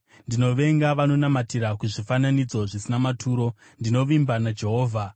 Ndinovenga vanonamatira kuzvifananidzo zvisina maturo; ndinovimba naJehovha.